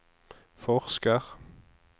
forsker